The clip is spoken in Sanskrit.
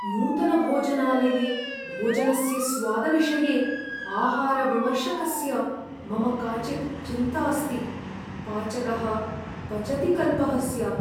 नूतनभोजनालये भोजनस्य स्वादविषये आहारविमर्शकस्य मम काचित् चिन्तास्ति। पाचकः पचतिकल्पः स्यात्।